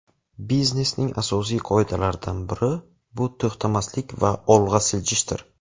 Biznesning asosiy qoidalaridan biri bu to‘xtamaslik va olg‘a siljishdir.